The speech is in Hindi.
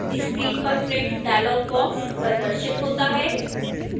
screen पर print dialog box प्रदर्शित होता है